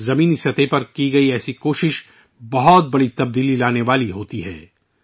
نچلی سطح پر کی جانے والی ، اس طرح کی کوششیں بڑی تبدیلیاں لا سکتی ہیں